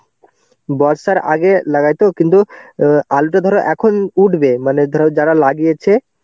বর্ষার আগে লাগায়তো কিন্তু অ্যাঁ আলুটা ধরো এখন উঠবে মানে ধরো যারা লাগিয়েছে